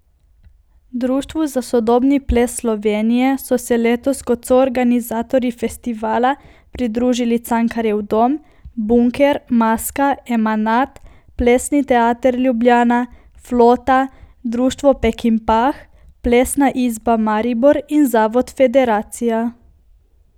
Društvu za sodobni ples Slovenije so se letos kot soorganizatorji festivala pridružili Cankarjev dom, Bunker, Maska, Emanat, Plesni Teater Ljubljana, Flota, Društvo Pekinpah, Plesna izba Maribor in Zavod Federacija.